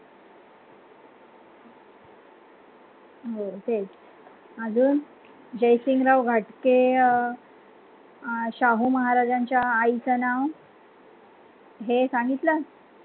हो तेच अजून जयसिंगराव घाटगे अं अं शाहू महाराजांच्या आईचं नाव हे सांगितलं.